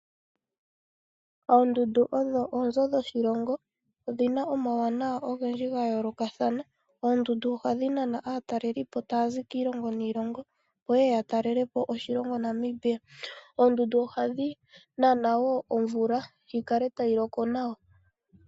Oondundu odho oonzo dhoshilongo odhina omauwanaw ogendji gayoolokathana oondundu ohadhi Nana aatalelipo taazi kiilongo niilongo opo yeya yatalelepo oshilongo Namibia ohadhi Nana woo omvula opo yi kale tayi loko nawa